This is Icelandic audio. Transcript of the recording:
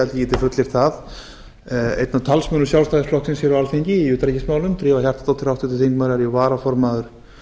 held að ég geti fullyrt það einn af talsmönnum sjálfstæðisflokksins hér á alþingi í utanríkismálum drífa hjartardóttir háttvirtur þingmaður er jú varaformaður